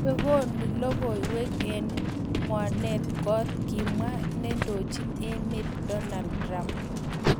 "Chu ko logoiywek che ng'wanen kot", Kimwa neindochin emet Donald Trump